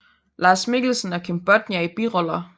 Lars Mikkelsen og Kim Bodnia i biroller